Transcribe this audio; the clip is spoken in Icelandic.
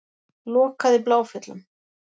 Lokað í Bláfjöllum